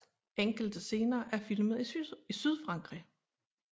Enkelte scener er filmet i Sydfrankrig